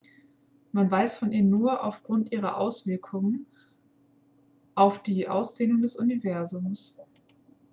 man weiß von ihr nur aufgrund ihrer auswirkungen auf die ausdehnung des universums